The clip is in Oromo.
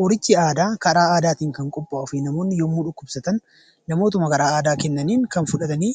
Qorichi aadaa karaa aadaatiin kan qophaa'uu fi namoonni yommuu dhukkubsatan namootuma karaa aadaa kennaniin fudhatanii